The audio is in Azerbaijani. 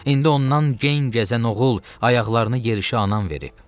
İndi ondan geyin gəzən oğul, ayaqlarını yerişə anan verib.